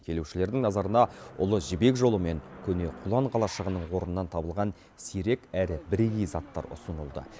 келушілердің назарына ұлы жібек жолы мен көне құлан қалашығының орнынан табылған сирек әрі бірегей заттар ұсынылды